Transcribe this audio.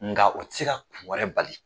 Nga u tɛ se ka wɛrɛ bali